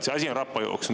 See asi on rappa jooksnud.